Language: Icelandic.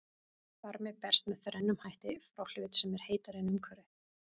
Varmi berst með þrennum hætti frá hlut sem er heitari en umhverfið.